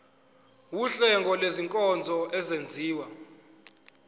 wuhlengo lwezinkonzo ezenziwa